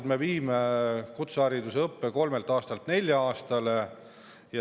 Samas me viime kutsehariduses õppe kolmelt aastalt neljale aastale.